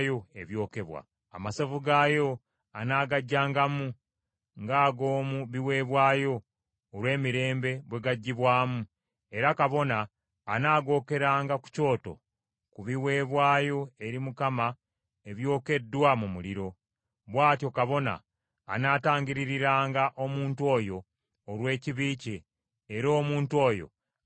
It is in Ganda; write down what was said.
Amasavu gaayo anaagaggyangamu nga ag’omu biweebwayo olw’emirembe bwe gaggyibwamu, era kabona anaagookeranga ku kyoto ku biweebwayo eri Mukama ebyokeddwa mu muliro. Bw’atyo kabona anaatangiririranga omuntu oyo olw’ekibi kye, era omuntu oyo anaasonyiyibwanga.